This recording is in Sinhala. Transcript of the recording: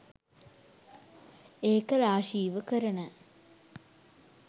ඒක රාශීව කරන